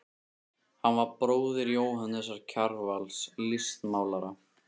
Hann var bróðir Jóhannesar Kjarvals, listmálara.